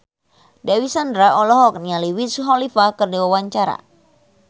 Dewi Sandra olohok ningali Wiz Khalifa keur diwawancara